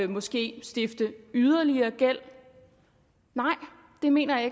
måske stifte yderligere gæld nej det mener jeg